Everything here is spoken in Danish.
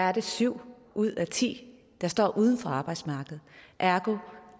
er det syv ud af ti der står uden for arbejdsmarkedet ergo